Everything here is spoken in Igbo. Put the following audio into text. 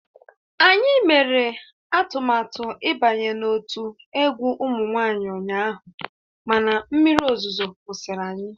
Anyị mere atụmatụ ịbanye n'otu egwu ụmụ nwanyị ụnyaahụ mana mmiri ozuzo kwụsịrị anyị